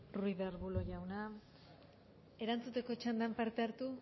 ruiz de arbulo jauna erantzuteko txandan parte hartu